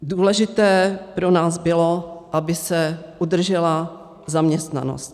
Důležité pro nás bylo, aby se udržela zaměstnanost.